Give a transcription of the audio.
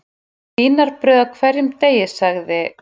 Vínarbrauð á hverjum degi sagði